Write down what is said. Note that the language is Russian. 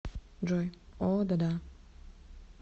джой о да да